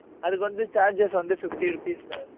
அதுக்கு வந்து, charges வந்து, fifty rupees mam